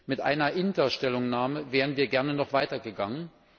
Mit einer INTA Stellungnahme wären wir gerne noch weitergegangen.